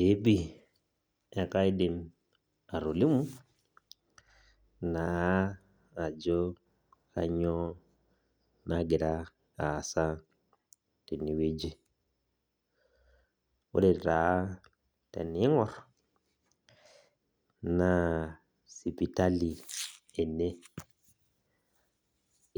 Ee pi ekaidim atolimu, naa ajo kanyioo nagira aasa tenewueji. Ore taa tening'or, naa sipitali ene.